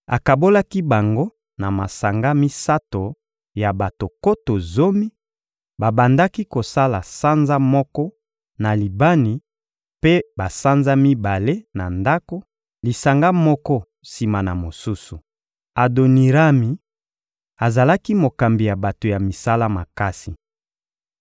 Akabolaki bango na masanga misato ya bato nkoto zomi: babandaki kosala sanza moko, na Libani, mpe basanza mibale na ndako; lisanga moko sima na mosusu. Adonirami azalaki mokambi ya bato ya misala makasi.